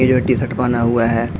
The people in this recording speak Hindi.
ये जो टीशर्ट पहना हुआ है।